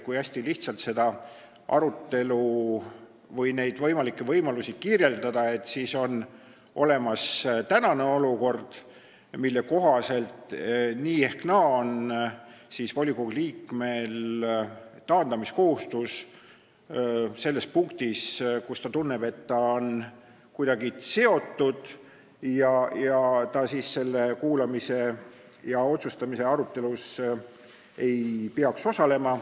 Kui hästi lihtsalt seda arutelu või neid võimalusi kirjeldada, siis võib öelda, et on olemas tänane olukord, mille kohaselt nii ehk naa on volikogu liikmel taandamiskohustus, kui ta tunneb, et ta on selle teemaga kuidagi seotud ja ta selles otsustamise arutelus ei peaks osalema.